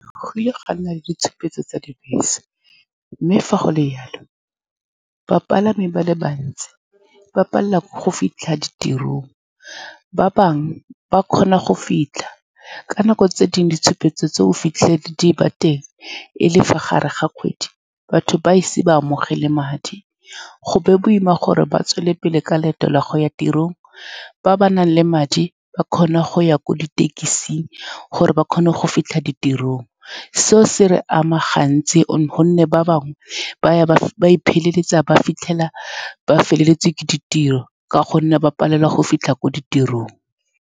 Go kile ga nna le ditshupetso tsa dibese, mme fa go le jalo bapalami ba le bantsi ba palelwa ke go fitlha ditirong. Ba bangwe ba kgona go fitlha ka nako, tse dingwe ditshupetso tseo o fitlhele di ba teng e le fa gare ga kgwedi batho ba ise ba amogele madi. Go be boima gore ba tswelele pele ka leeto la go ya tirong. Ba ba nang le madi ba kgone go ya ko dithekising gore ba kgone go fitlha tirong. Seo se re ama gantsi ka gonne ba bangwe ba ya ba feleletsa ba fitlhela ba feletswe ke ditiro ka gonne ba palelwa ke go fitlha ko ditirong.